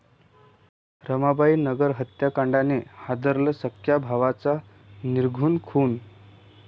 रमाबाई नगर हत्याकांडाने हादरलं, सख्ख्या भावांचा निर्घृण खून